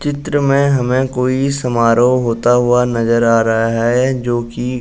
चित्र में हमें कोई समारोह होता हुआ नजर आ रहा है जो कि --